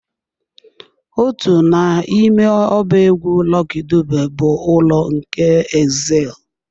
Otu n'ime ọba egwu Lucky Dube bụ "Ụlọ nke Exile"